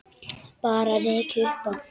Bara rekið upp Á!